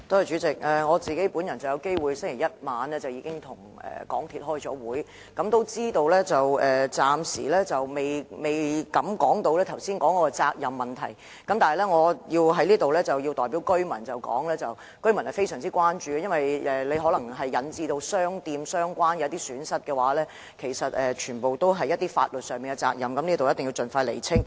主席，我在星期一晚上與港鐵公司開會，得知暫時尚未談及剛才提及的責任問題，但我在此要代表居民反映他們的關注，因為如果這次事故引致相關商店蒙受損失的話，則所涉及的，便全是法律上的責任，必須盡快釐清。